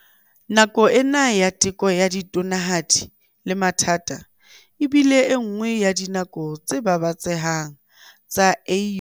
Nako ena ya teko ya tonanahadi le mathata e bile enngwe ya dinako tse babatsehang tsa AU.